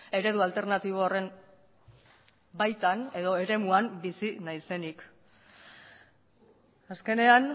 eredu alternatibo horren baitan edo eremuan bizi naizenik azkenean